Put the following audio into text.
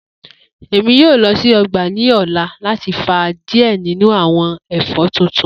Emi yoo lọ si ọgba ni ọla lati fa diẹ ninu awọn ẹfọ tuntun.